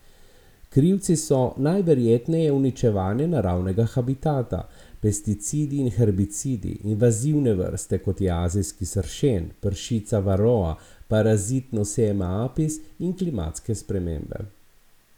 Krivci so najverjetneje uničevanje naravnega habitata, pesticidi in herbicidi, invazivne vrste, kot je azijski sršen, pršica varroa, parazit nosema apis in klimatske spremembe.